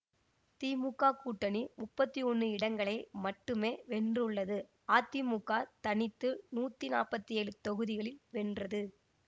திமுக கூட்டணி முப்பத்தி ஒன்னு இடங்களை மட்டுமே வென்றுள்ளது அதிமுக தனித்து நூத்தி நாப்பத்தி ஏழு தொகுதிகளில் வென்றது